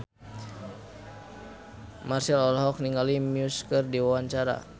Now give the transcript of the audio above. Marchell olohok ningali Muse keur diwawancara